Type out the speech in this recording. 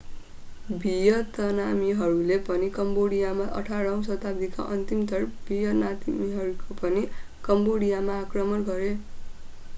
भियतनामीहरूले पनि कम्बोडियामा 18 औं शताब्दीका अन्तिमतिर भियतनामीहरूले पनि कम्बोडियामा आक्रमण गरे